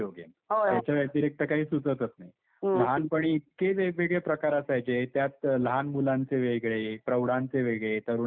याच्या व्यतिरिक्त काही सुचतच नाही. लहानपणी इतके वेगवेगळे प्रकार असायचे त्यात लहान मुलांचे वेगळे, प्रौढांचे वेगळे, तरुणांचे वेगळे.